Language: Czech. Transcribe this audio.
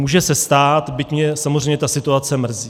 Může se stát, byť mě samozřejmě ta situace mrzí.